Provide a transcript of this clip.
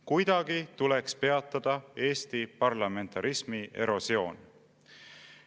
Kuidagi tuleks peatada Eesti parlamentarismi erosioon.